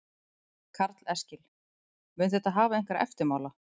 Karl Eskil: Mun þetta hafa einhverja eftirmála?